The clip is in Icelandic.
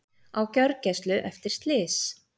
Á gjörgæslu eftir slys